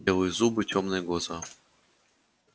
белые зубы тёмные глаза